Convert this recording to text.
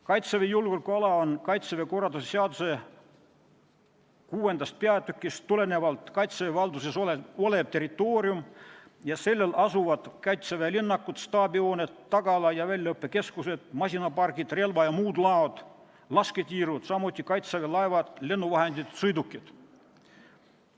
Kaitseväe julgeolekuala on Kaitseväe korralduse seaduse 6. peatükist tulenevalt Kaitseväe valduses olev territoorium ja sellel asuvad Kaitseväe linnakud, staabihooned, tagala- ja väljaõppekeskused, masinapargid, relva- ja muud laod, lasketiirud, samuti Kaitseväe laevad, lennuvahendid, sõidukid.